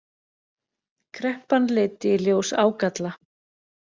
Kreppan leiddi í ljós ágalla